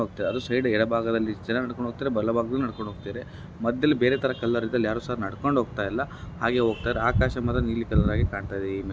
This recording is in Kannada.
ಎಡ ಭಾಗದಲ್ಲಿ ಜನ ನಡ್ಕೊಂಡು ಹೋಗ್ತಾ ಇದ್ದಾರೆ ಬಲಭಾಗದಲ್ಲೂ ಸಹ ನಡ್ಕೊಂಡು ಹೋಗ್ತಾ ಇದ್ದಾರೆ ಮಧ್ಯದಲ್ಲಿ ಬೇರೆ ಕಲರ್ ಇದೆ ಅಲ್ಲಿ ಯಾರು ಸಹ ನಡ್ಕೊಂಡು ಹೋಗ್ತಾ ಇಲ್ಲ ಹಾಗೆ ಹೋಗ್ತಾ ಇದ್ದಾರೆ ಆಕಾಶ ಮಾತ್ರ ನೀಲಿ ಕಲರ್ ಆಗಿ ಕಾಣಿಸ್ತಾ ಇದೆ.